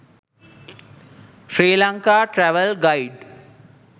sri lanka travel guide